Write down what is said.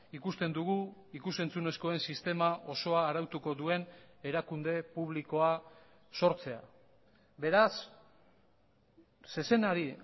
ikusten dugu ikus entzunezkoen sistema osoa arautuko duen erakunde publikoa sortzea beraz zezenari